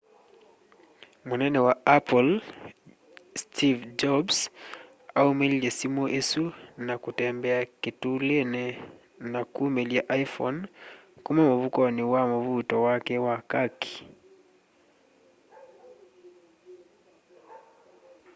munene wa apple steve jobs aumililye simu isu na kutembea kitulini na kumilya iphone kuma mfukoni wa mvuuto wake wa kaki